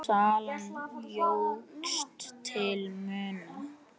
En salan jókst til muna.